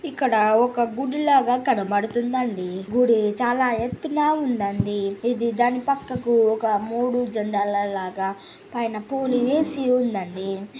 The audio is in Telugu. ఇక్కడ ఒక గుడి లాగ కనపడుతుంది అండి గుడి చాలా ఎత్తు ఉందండి ఇది దాని పక్కకు ఒక మూడు జండా లా-లా లాగా పైన పూలు వేసి ఉంది అండి.